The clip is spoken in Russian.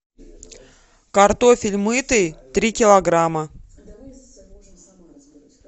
картофель мытый три килограмма